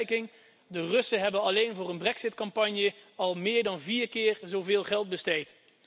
Ter vergelijking de Russen hebben alleen voor een Brexit campagne al meer dan vier keer zoveel geld besteed!